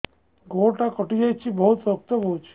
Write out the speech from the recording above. ଗୋଡ଼ଟା କଟି ଯାଇଛି ବହୁତ ରକ୍ତ ବହୁଛି